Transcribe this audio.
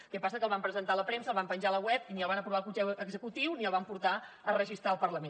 què passa que el van presentar a la premsa el van penjar a la web i ni el van aprovar al consell executiu ni el van portar a registrar al parlament